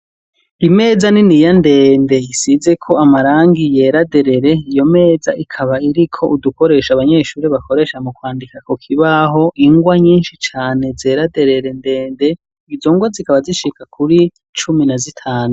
Imeza niniya ndende isize ko amarangi yeraderere. Iyo meza ikaba iriko udukoresha abanyeshuri bakoresha mu kwandika ko kibaho ingwa nyinshi cane zeraderere ndende izongwa zikaba zishika kuri cumi na zitanu.